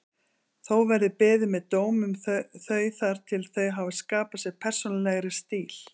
Þó verði beðið með dóm um þau þar til þau hafi skapað sér persónulegri stíl.